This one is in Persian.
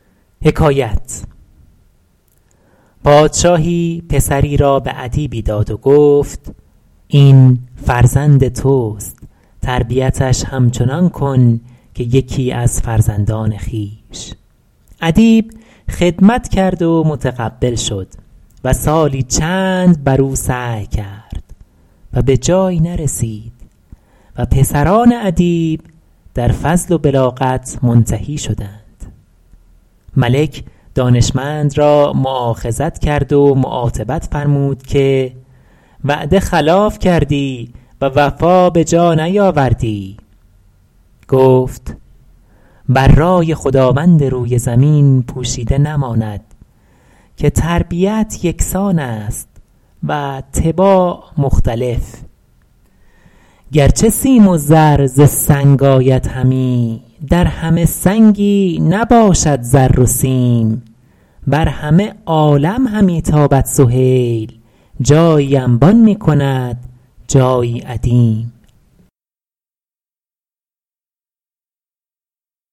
پادشاهی پسری را به ادیبی داد و گفت این فرزند توست تربیتش همچنان کن که یکی از فرزندان خویش ادیب خدمت کرد و متقبل شد و سالی چند بر او سعی کرد و به جایی نرسید و پسران ادیب در فضل و بلاغت منتهی شدند ملک دانشمند را مؤاخذت کرد و معاتبت فرمود که وعده خلاف کردی و وفا به جا نیاوردی گفت بر رای خداوند روی زمین پوشیده نماند که تربیت یکسان است و طباع مختلف گرچه سیم و زر ز سنگ آید همی در همه سنگی نباشد زر و سیم بر همه عالم همی تابد سهیل جایی انبان میکند جایی ادیم